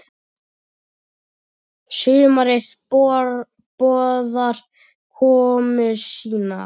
Sumarið boðar komu sína.